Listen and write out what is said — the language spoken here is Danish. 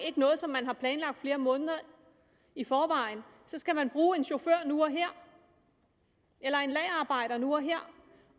ikke noget som man har planlagt flere måneder i forvejen så skal man bruge en chauffør nu og her eller en lagerarbejder nu og her